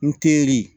N teri